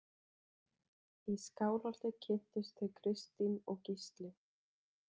Í Skálholti kynntust þau Kristín og Gísli.